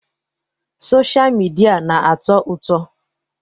Sọsha mịdia na-atọ ụtọ.